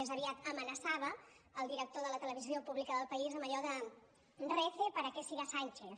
més aviat amenaçava el director de la televisió pública del país amb allò de rece para que siga sánchez